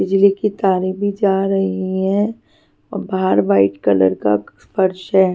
बिजली की तारे भी जा रही है और बाहर वाइट कलर का फर्श है.